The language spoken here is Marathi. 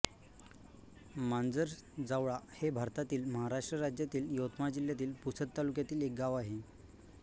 मांजरजावळा हे भारतातील महाराष्ट्र राज्यातील यवतमाळ जिल्ह्यातील पुसद तालुक्यातील एक गाव आहे